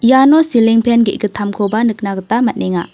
iano siling pen ge·gittamkoba nikna gita man·enga.